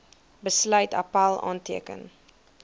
besluit appèl aanteken